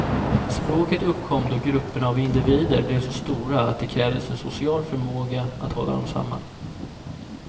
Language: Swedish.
Språket uppkom då grupperna av individer blev så stora att det krävdes en social förmåga att hålla dem samman.